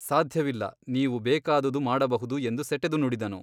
ಸಾಧ್ಯವಿಲ್ಲ ನೀವು ಬೇಕಾದುದು ಮಾಡಬಹುದು ಎಂದು ಸೆಟೆದು ನುಡಿದನು.